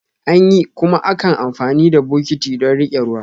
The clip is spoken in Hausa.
Anyi, kuma ankan amfani da bokitti don rike ruwa.